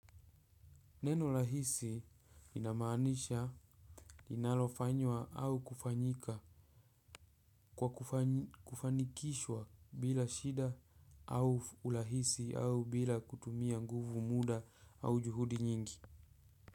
Neno rahisi inamaanisha linalofanywa au kufanyika kwa kufanikishwa bila shida au au urahisi au bila kutumia nguvu muda au juhudi nyingi.